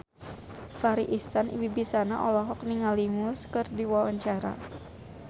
Farri Icksan Wibisana olohok ningali Muse keur diwawancara